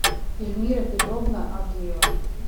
ильмира петровна авдеева